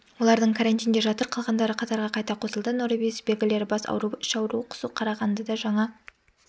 олардың карантинде жатыр қалғандары қатарға қайта қосылды норовирус белгілері бас ауруы іш ауруы құсу қарағандыда жаңа